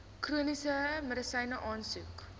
chroniese medisyne aansoek